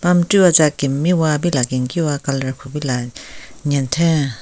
chu watsa kemmiwa pila kenkiwa colour kupila nyentheng.